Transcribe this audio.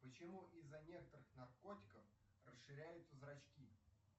почему из за некоторых наркотиков расширяются зрачки